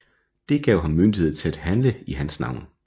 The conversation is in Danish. Det gav ham myndighed til at handle i hans navn